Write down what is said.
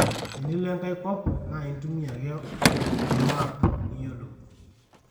tenilo enkae kop naa intumia ake olmap niyolou